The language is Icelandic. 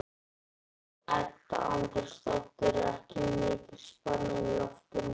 Edda Andrésdóttir: Er ekki mikil spenna í loftinu, Heimir?